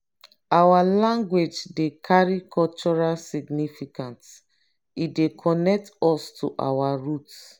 our language dey carry cultural significance; e dey connect us to our roots.